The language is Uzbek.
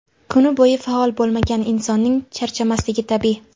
Kuni bo‘yi faol bo‘lmagan insonning charchamasligi tabiiy.